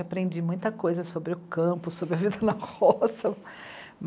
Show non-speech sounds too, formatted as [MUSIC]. Aprendi muita coisa sobre o campo, sobre a vida na roça. [LAUGHS]